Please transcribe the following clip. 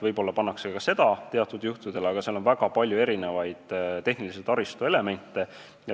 Võib-olla pannakse ka seda sinna teatud juhtudel, aga seal on väga palju tehnilise taristu elemente.